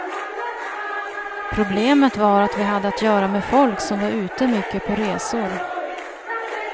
Problemet var att vi hade att göra med folk som var ute mycket på resor.